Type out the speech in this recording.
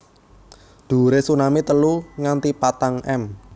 Dhuwure tsunami telu nganti patang m